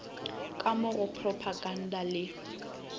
ka mo go propaganda le